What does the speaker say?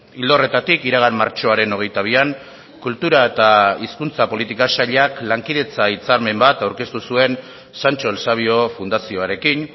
ildo horretatik iragan martxoaren hogeita bian kultura eta hizkuntza politika sailak lankidetza hitzarmen bat aurkeztu zuen sancho el sabio fundazioarekin